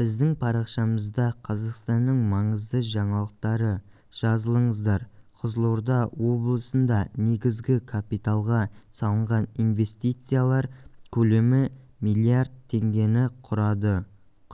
біздің парақшамызда қазақстанның маңызды жаңалықтары жазылыңыздар қызылорда облысынданегізгі капиталға салынған инвестициялар көлемі миллиард теңгені құрады